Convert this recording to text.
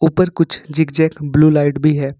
ऊपर कुछ zigzag blue light भी है।